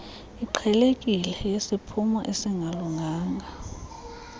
iqhelekileyo yesiphumo esingalunganga